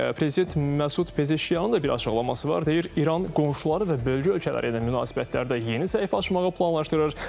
Prezident Məsud Pezeşiyanın da bir açıqlaması var, deyir İran qonşuları və bölgə ölkələri ilə münasibətlərdə yeni səhifə açmağı planlaşdırır.